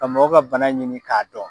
Ka mɔgɔ ka bana ɲini k'a dɔn.